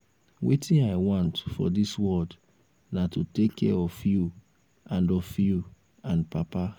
wetin i want for dis world na to take care of you and of you and papa